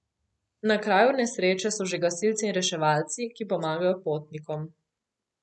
Na kraju nesreče so že gasilci in reševalci, ki pomagajo potnikom.